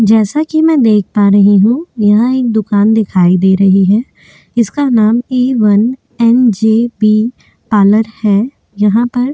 जैसा कि मैं देख पा रही हूं यहाँ एक दुकान दिखाई दे रही है इसका नाम A one N J B parlour है यहाँ पर--